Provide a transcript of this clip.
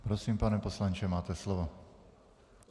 Prosím, pane poslanče, máte slovo.